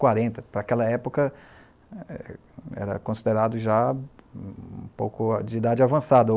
quarenta. Para aquela época, era considerado já um pouco de idade avançada.